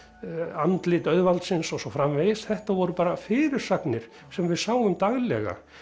andlit auðvaldsins og svo framvegis þetta voru bara fyrirsagnir sem við sáum daglega